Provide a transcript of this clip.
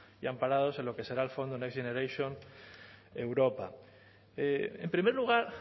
y amparados en lo que será el fondo next generation europa en primer lugar